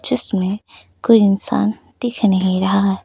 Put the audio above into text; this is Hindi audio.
जिसमें कोई इंसान दिख नहीं रहा है।